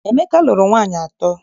Emeka lụrụ nwaanyị atọ.